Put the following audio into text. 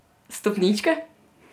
Stopničke?